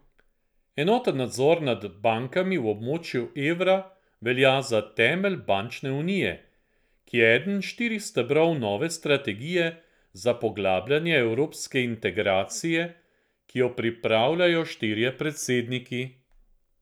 Enoten nadzor nad bankami v območju evra velja za temelj bančne unije, ki je eden štirih stebrov nove strategije za poglabljanje evropske integracije, ki jo pripravljajo štirje predsedniki.